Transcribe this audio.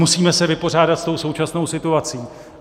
Musíme se vypořádat s tou současnou situací.